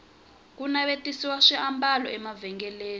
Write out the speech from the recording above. ku navetisiwa swiambalo emavhengeleni